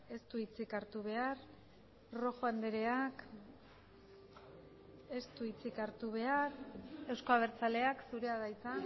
ez du hitzik hartu behar rojo andreak ez du hitzik hartu behar euzko abertzaleak zurea da hitza